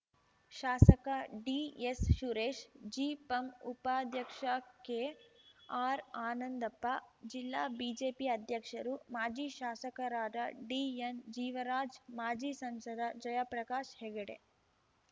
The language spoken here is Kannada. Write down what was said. ಶಾಸಕ ಡಿಎಸ್‌ ಸುರೇಶ್‌ ಜಿಪಂ ಉಪಾಧ್ಯಕ್ಷ ಕೆಆರ್‌ ಆನಂದಪ್ಪ ಜಿಲ್ಲಾ ಬಿಜೆಪಿ ಅಧ್ಯಕ್ಷರು ಮಾಜಿ ಶಾಸಕರಾದ ಡಿಎನ್‌ ಜೀವರಾಜ್‌ ಮಾಜಿ ಸಂಸದ ಜಯಪ್ರಕಾಶ್‌ ಹೆಗಡೆ